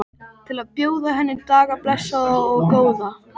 Til að bjóða henni daga blessaða og góða.